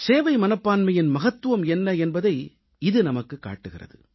சேவை மனப்பான்மையின் மகத்துவம் என்ன என்பதை இது நமக்குக் காட்டுகிறது